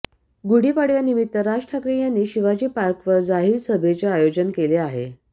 गुढी पाडव्यानिमित्त राज ठाकरे यांनी शिवाजी पार्कवर जाहीर सभेचं आयोजन केले आहे